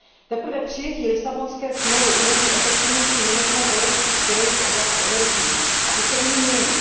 Teprve přijetí Lisabonské smlouvy umožní efektivnější management evropských priorit v oblasti energií a ty se nyní mění.